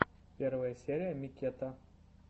первая серия миккета